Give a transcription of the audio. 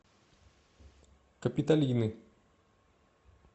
капитолины